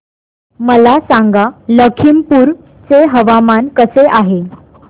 मला सांगा लखीमपुर चे हवामान कसे आहे